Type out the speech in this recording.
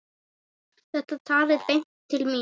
Þetta talaði beint til mín.